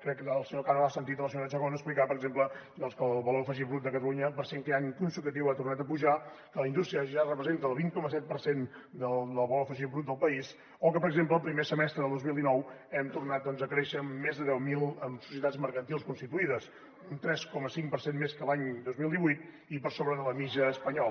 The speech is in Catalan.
crec que el senyor cano ha sentit la senyora chacón explicar per exemple que el valor afegit brut de catalunya per cinquè any consecutiu ha tornat a pujar que la indústria ja representa el vint coma set per cent del valor afegit brut del país o que per exemple el primer semestre del dos mil dinou hem tornat doncs a créixer amb més de deu mil societats mercantils constituïdes un tres coma cinc per cent més que l’any dos mil divuit i per sobre de la mitjana espanyola